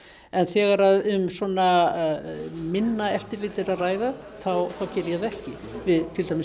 en þegar um svona minna eftirlit er að ræða þá geri ég það ekki við til dæmis